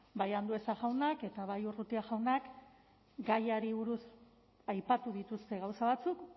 bai andueza jaunak eta bai urrutia jaunak gaiari buruz aipatu dituzte gauza batzuk